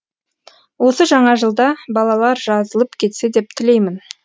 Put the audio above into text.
осы жаңа жылда балалар жазылып кетсе деп тілеймін